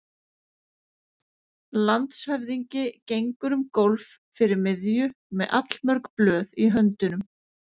Landshöfðingi gengur um gólf fyrir miðju með allmörg blöð í höndunum.